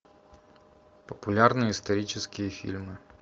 популярные исторические фильмы